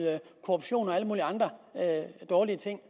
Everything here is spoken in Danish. korruption og alle mulige andre dårlige ting